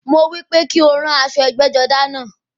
Mo wípé kí o ran aṣọ ẹgbẹ́-jọdá náà.